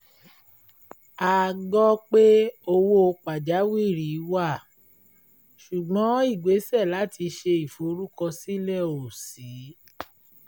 a gbọ́ pé owó pàjáwìrì wà ṣùgbọ́n ìgbésè láti ṣe ìforúkọsílẹ̀ ò ṣí